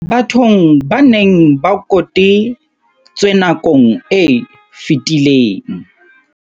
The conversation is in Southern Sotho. Bathong ba neng ba kote tswe nakong e fetileng.